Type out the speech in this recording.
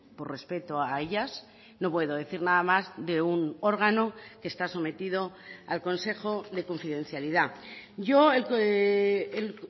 por respeto a ellas no puedo decir nada más de un órgano que está sometido al consejo de confidencialidad yo el